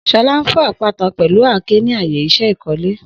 Shola n fọ apata pẹlu àáké ni aaye iṣẹ ikole.